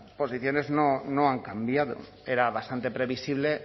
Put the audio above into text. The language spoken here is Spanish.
posiciones no han cambiado era bastante previsible